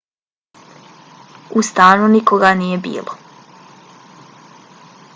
u stanu nikoga nije bilo